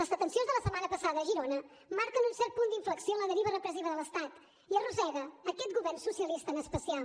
les detencions de la setmana passada a girona marquen un cert punt d’inflexió en la deriva repressiva de l’estat i arrossega aquest govern socialista en especial